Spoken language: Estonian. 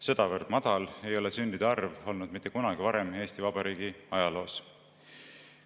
Sedavõrd madal ei ole sündide arv olnud mitte kunagi varem Eesti Vabariigi ajaloos.